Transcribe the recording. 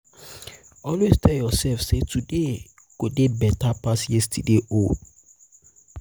always tel urself sey today go dey beta pass yestaday own